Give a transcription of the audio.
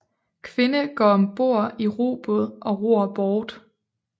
Kvinde går ombord i robåd og ror bort